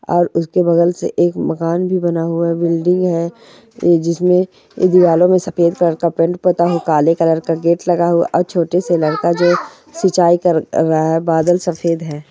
और उसके बगल से एक मकान भी बना हुआ है बिल्डिंग है जिसमे दिवालो में सफ़ेद कलर का पेंट पुता हो काले कलर का गेट लगा हुआ और छोटे से लड़का जो सिंचाई क-कर रहा बादल सफ़ेद है।